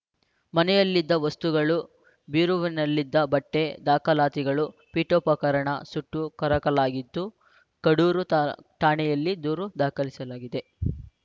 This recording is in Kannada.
ಮನೆಯಲ್ಲಿದ್ದ ವಸ್ತುಗಳು ಬೀರುವಿನಲ್ಲಿದ್ದ ಬಟ್ಟೆ ದಾಖಲಾತಿಗಳು ಪೀಠೋಪಕರಣ ಸುಟ್ಟು ಕರಕಲಾಗಿದ್ದು ಕಡೂರು ತ ಠಾಣೆಯಲ್ಲಿ ದೂರು ದಾಖಲಾಗಿದೆ